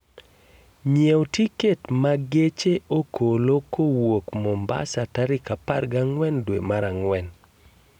nyiew tiket ma geche okolo kowuok Mombasa tarik 14 dwe ma ang'wen